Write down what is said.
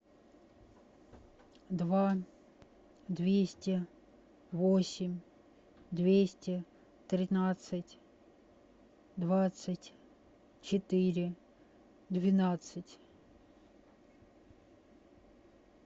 два двести восемь двести тринадцать двадцать четыре двенадцать